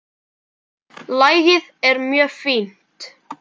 Lagið er mjög fínt.